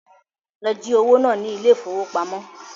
Lọ jí owó náà ní ile-ìfowópamó